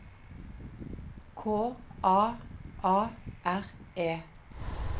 K A A R E